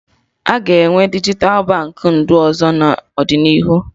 Aga enwe dijital Baankị ndụ ọzọ n'ọdịnihu